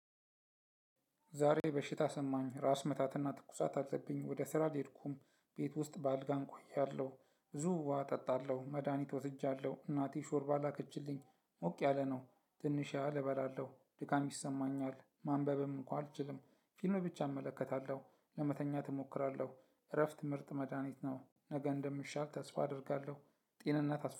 ዛሬ በሽታ ተሰማኝ። ራስ ምታትና ትኩሳት አለብኝ። ወደ ስራ ልሄድኩም ቤት ውስጥ በአልጋ እቆያለሁ። ብዙ ውሃ እጠጣለሁ። መድሃኒት ወስጃለሁ እናቴ ሾርባ ላከችልኝ። ሞቅ ያለ ነው። ትንሽ ያህል እበላለሁ። ድካም ይሰማኛል። ማንበብም እንኳን አልችልም። ፊልም ብቻ እመለከታለሁ። ለመተኛት እሞክራለሁ። እረፍት ምርጥ መድሃኒት ነው። ነገ እንደሚሻል ተስፋ አደርጋለሁ። ጤንነት አስፈላጊ